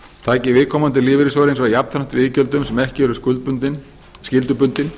taki viðkomandi lífeyrissjóðir hins vegar jafnframt við iðgjöldum sem ekki eru skyldubundin